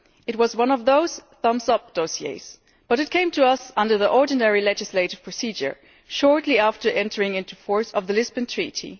It was one of those thumbs up' dossiers, but it came to us under the ordinary legislative procedure shortly after the entry into force of the Lisbon Treaty.